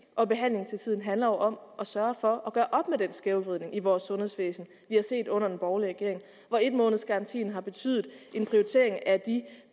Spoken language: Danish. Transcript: og behandling til tiden handler om at sørge for at gøre op med den skævvridning i vores sundhedsvæsen vi har set under den borgerlige regering hvor en måneds garantien har betydet en prioritering af de